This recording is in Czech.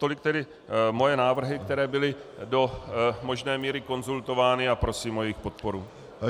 Tolik tedy moje návrhy, které byly do možné míry konzultovány, a prosím o jejich podporu.